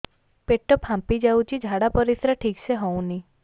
ପେଟ ଫାମ୍ପି ଯାଉଛି ଝାଡ଼ା ପରିସ୍ରା ଠିକ ସେ ହଉନି